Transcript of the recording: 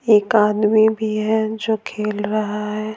एक आदमी भी है जो खेल रहा है।